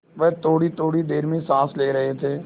वह थोड़ीथोड़ी देर में साँस ले रहे थे